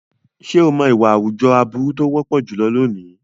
Ṣé o mọ̀ ìwà àwùjọ aburú tó wọ́pọ̀ jùlọ lónìí?